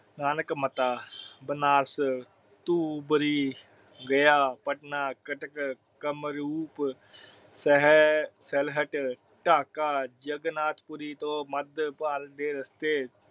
ਬਨਾਰਸ, ਤੂੰਬਾਰੀ, ਗਿਆਂ ਪਟਨਾ, ਕਟਕ, ਕਾਮਰੂਪ, ਸਹਸਲਹੱਟ, ਢਾਕਾ, ਜਗਾਰਨਾਥਪੁਰੀ ਤੋਂ ਮਦ ਬਾਲ ਦੇ ਰਸਤੇ